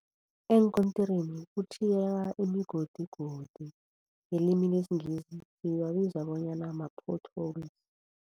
Eenkontirini kutjhiyeka imigodigodi ngelimi lesiNgisi siwabiza bonyana ma-potholes.